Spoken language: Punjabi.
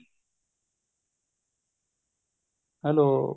hello